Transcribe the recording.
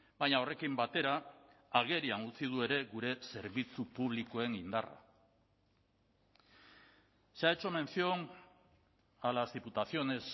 baina horrekin batera agerian utzi du ere gure zerbitzu publikoen indarra se ha hecho mención a las diputaciones